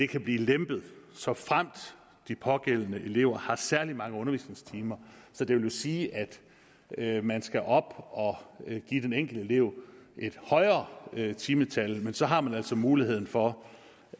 kan blive lempet såfremt de pågældende elever har særlig mange undervisningstimer så det vil jo sige at man skal op og give den enkelte elev et højere timetal men så har man altså muligheden for